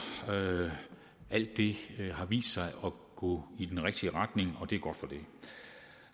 alt det har vist sig at gå i den rigtige retning og det er godt